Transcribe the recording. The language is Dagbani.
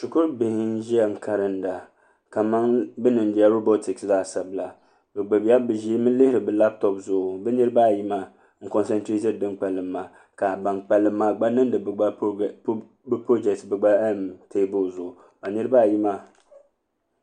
shɛkuru bihi na ʒɛya karinda kaman be niŋ la bɛ voting laasabula bi ʒɛmi lihiri be latop zuɣ' bi niriba ayi maa n zaŋ be zaŋsim n niŋ dɛni kpalim maa ka ban kpalim maa gba niŋdi be lasabu bɛ gba taibulɣu ka niriba ayi maa